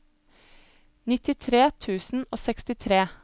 nittitre tusen og sekstitre